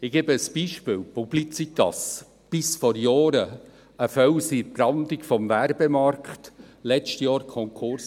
Ich gebe ein Beispiel: Die Publicitas war bis vor Jahren ein Fels in der Brandung im Werbemarkt, ging aber letztes Jahr Konkurs.